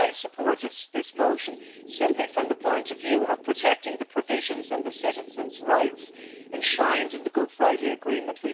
But I supported this motion simply from the point of view of protecting the provisions and the citizens' rights enshrined in the Good Friday Agreement.